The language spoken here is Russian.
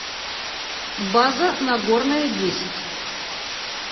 база нагорная десять